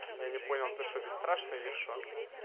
я не понял ты что бесстрашный или что